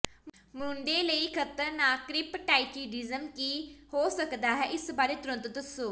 ਮੁੰਡੇ ਲਈ ਖ਼ਤਰਨਾਕ ਕਰਿਪਟ੍ਰਾਚਿਡੀਜ਼ਮ ਕੀ ਹੋ ਸਕਦਾ ਹੈ ਇਸ ਬਾਰੇ ਤੁਰੰਤ ਦੱਸੋ